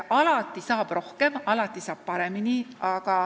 Alati saab muidugi rohkem, alati saab paremini.